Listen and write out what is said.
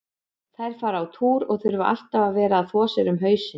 Þær fara á túr og þurfa alltaf að vera að þvo sér um hausinn.